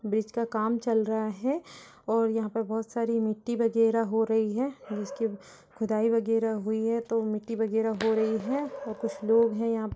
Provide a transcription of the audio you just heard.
Bridge का काम चल रहा है और यहाँ पे बहोत सारी मिट्टी वगैरह हो रही है। जिसकी व खुदाई वगैरह हुई है तो मिट्टी वगैरह हो रही है और कुछ लोग हैं यहां प --